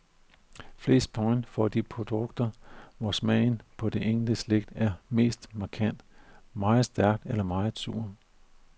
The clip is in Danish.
Flest point får de produkter, hvor smagen på det enkelte slik er mest markant, meget stærk eller meget sur.